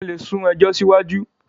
wón lè sún ejò siwaju.